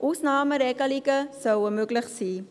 Ausnahmeregelungen sollen möglich sein.